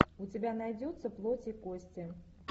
у тебя найдется плоть и кости